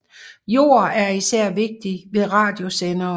Jord er især vigtig ved radiosendere